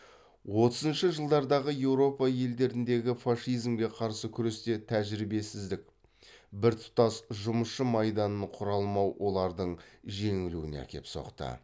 отызыншы жылдардағы еуропа елдеріндегі фашизмге қарсы күресте тәжірбесіздік біртұтас жұмысшы майданын құра алмау олардың жеңілуіне әкеліп соқты